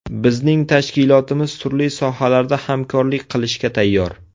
Bizning tashkilotimiz turli sohalarda hamkorlik qilishga tayyor.